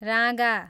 राँगा